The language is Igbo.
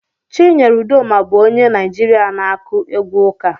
Chinyere Udoma bụ onye Naijiria na-akụ egwu ụka.